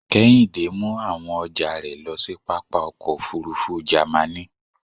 Kehinde mu awon ọjà rẹ̀ lo sí pápá ọkọ̀ òfurufú Jàmaní.